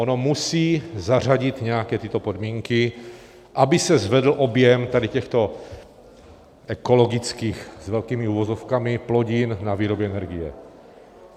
Ono musí zařadit nějaké tyto podmínky, aby se zvedl objem tady těchto ekologických s velkými uvozovkami plodin na výrobu energie.